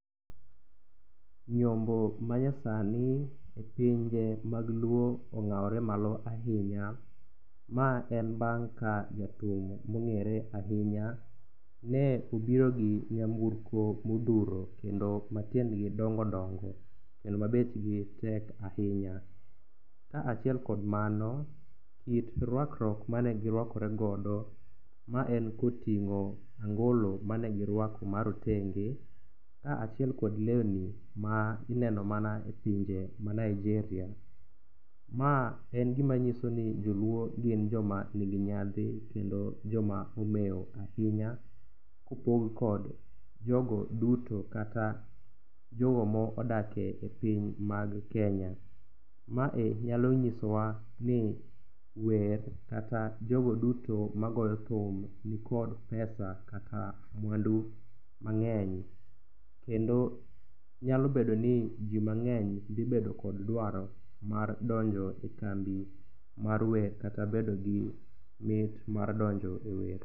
Nyombo manyasani e pinje mag luo ong'awore malo ahinya. Ma en bang' ka jathum mong'ere ahinya ne obiro gi nyamburko modhuro kendo matiendgi dongo dongo kendo ma bechgi tek ahinya ka achiel kod mano kit rakwuok mane giruakore godo mae koting'o angolo mane giruako marotenge kaachiel kod lewni mineno mana e pinje mag Nigeria ma nyiso ni joluo gin joma nigi nyadhi kendo joma omew ahinya kopog kod jogo duto kata jogo ma odak e piny mag Kenya. Mae nyalo nyisowa ni wer kata jogo duto magoyo thum nikod pesa kata mwandu mang'eny kendo nyalo bedo ni ji mang'eny dhi bedo kod dwaro mar donjo e kambi mar wer kata bedo gi mit mar dono ewer.